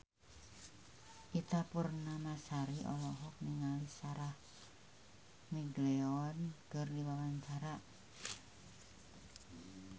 Ita Purnamasari olohok ningali Sarah McLeod keur diwawancara